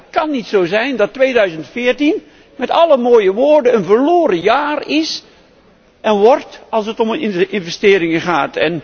Het mag en kan niet zo zijn dat 2014 met alle mooie woorden een verloren jaar is en wordt, als het om investeringen gaat.